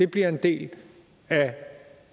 bliver en del af